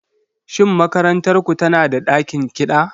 Shin makarantar ku tana da ɗakin kiɗa?